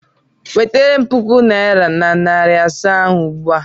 Wetara m puku naịra na narị asaa ahụ ugbu a!